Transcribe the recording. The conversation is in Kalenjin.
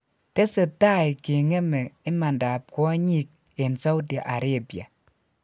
tesetai kengeme imandap kwonyik en saudi arabia.